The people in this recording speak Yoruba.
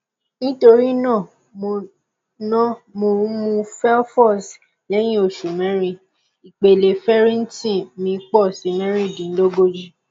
nítorí náà mò náà mò ń mú fefolz lẹyìn oṣù mẹrin ìpele ferritin mi pọ sí mẹrìndínlógójì